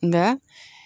Nka